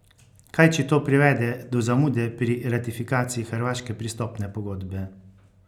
Kaj če to privede do zamude pri ratifikaciji hrvaške pristopne pogodbe?